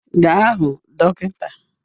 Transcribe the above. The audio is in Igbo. Gaa hụ dọkịta